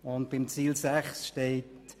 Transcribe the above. Unter dem Versorgungsziel 6 steht: